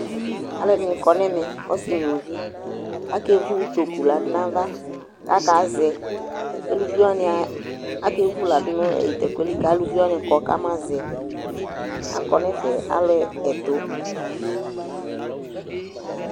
aluedini kɔnɛmɛ ɔssi nũluvi akévu utokũ ladu nava kaka zɛ éluvi wania aké vũladu nu tɛkuɛli kalũvi kɔ kama zɛ akɔ nɛfɛ aluẽ ɛtũ